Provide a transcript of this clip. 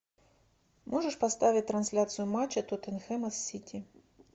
можешь поставить трансляцию матча тоттенхэма с сити